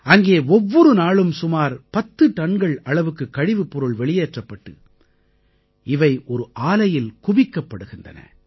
அங்கே ஒவ்வொரு நாளும் சுமார் 10 டன்கள் அளவுக்குக் கழிவுப்பொருள் வெளியேற்றப்பட்டு இவை ஒரு ஆலையில் குவிக்கப்படுகின்றன